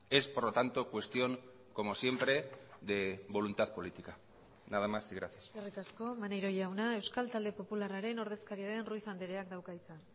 es por lo tanto cuestión como siempre de voluntad política nada más y gracias eskerrik asko maneiro jauna euskal talde popularraren ordezkaria den ruiz andreak dauka hitza